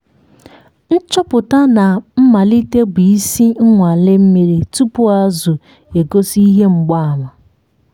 nchọpụta na mmalite bụ isi - nnwale mmiri tupu azụ egosi ihe mgbaàmà.